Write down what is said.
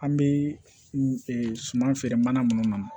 An bɛ suman feere mana minnu na